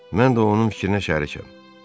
Mən də onun fikrinə şərikəm.